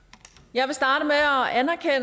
jeg